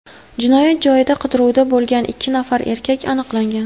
Jinoyat joyida qidiruvda bo‘lgan ikki nafar erkak aniqlangan.